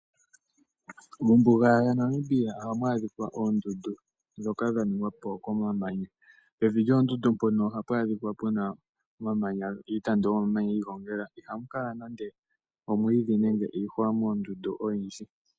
Mombuga yaNamibia ohamu adhikwa oondundu dhoka dhaningwa po komamanya, pevi lyoondundu mpono ohapu adhikwa puna iitandu yomamanya yiigongela, ihapu kala nande omwiidhi nenge iihwa moondundu oyindji.